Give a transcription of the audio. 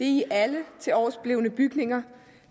i alle tiloversblevne bygninger